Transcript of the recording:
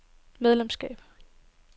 medlemskab